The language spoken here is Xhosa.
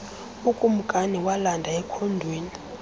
ukumkani walanda ekhondweni